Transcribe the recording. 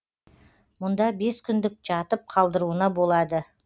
мұнда бес күндік жатып қалдыруына болады